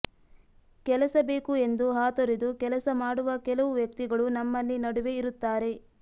ಕೆಲಸ ಬೇಕು ಎಂದು ಹಾತೊರೆದು ಕೆಲಸ ಮಾಡುವ ಕೆಲವು ವ್ಯಕ್ತಿಗಳು ನಮ್ಮಲ್ಲಿ ನಡುವೆ ಇರುತ್ತಾರೆ